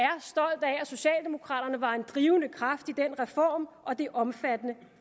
socialdemokraterne var en drivende kraft i den reform og det omfattende